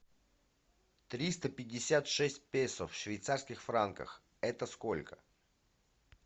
триста пятьдесят шесть песо в швейцарских франках это сколько